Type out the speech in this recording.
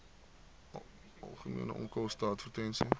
algemene onkoste advertensies